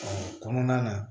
Ɔ kɔnɔna na